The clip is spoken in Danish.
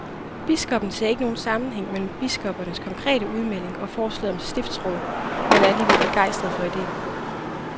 Biskoppen ser ikke nogen sammenhæng mellem biskoppernes konkrete udmelding og forslaget om stiftsråd, men er alligevel begejstret for ideen.